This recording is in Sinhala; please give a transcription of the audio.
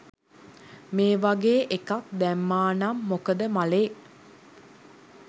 මේ වගේ එකක් දැම්මා නං මොකද මලේ